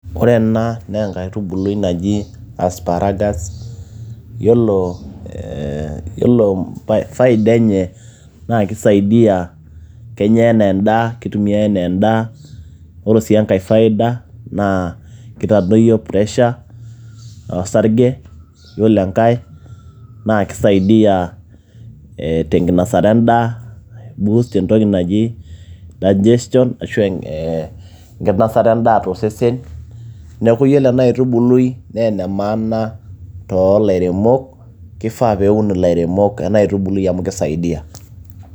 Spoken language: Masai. ore ena naa enkaitubului naji asparagus yiolo faida enye naa kisaidiyia kenya enaa endaa kitumiay enaa endaa, oro sii enkay faida naa kitadoyio pressure osarge yiolo enkay naa kisaidiyia tenkinosata endaa ibust entoki naji digestion ashu enkinasata endaa tosesen neeku yiolo ena aitubului naa ene maana toolairemok kifaa peun ilairemok ena aitubului amu kisaidiyia.